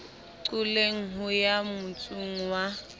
qoleng ho ya motsong wa